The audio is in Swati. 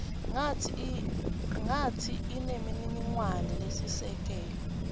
kantsi inemininingwane lesisekelo